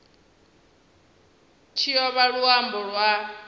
tshi o vha luambo lwa